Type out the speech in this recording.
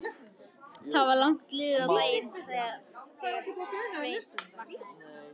Það var langt liðið á daginn þegar Sveinn vaknaði.